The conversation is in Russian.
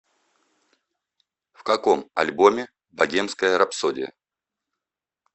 в каком альбоме богемская рапсодия